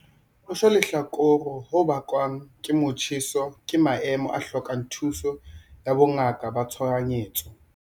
Ho shwa lehlakore ho bakwang ke motjheso ke maemo a hlokang thuso ya bongaka ka tshohanyetso.